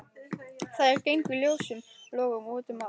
Þær gengu ljósum logum út um allt.